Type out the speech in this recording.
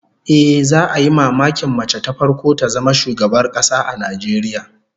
Ehh, za'a yi mamakin mace ta farko ta zama shugabar kasa a Najeriya